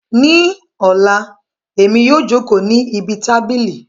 Ní Ọla, Èmi yóò jókòó ní ibi tábìlì